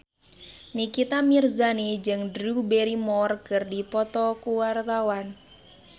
Nikita Mirzani jeung Drew Barrymore keur dipoto ku wartawan